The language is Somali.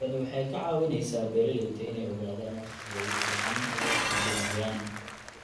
Tani waxay ka caawisaa beeralayda inay ogaadaan wakhtiga ugu fiican ee ay wax iibinayaan.